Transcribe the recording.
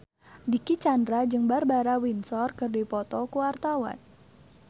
Dicky Chandra jeung Barbara Windsor keur dipoto ku wartawan